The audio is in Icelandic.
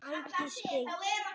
Ægisbyggð